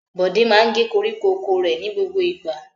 Bọ̀dé máa ń gé koríko oko rẹ̀ ní gbogbo ìgbà.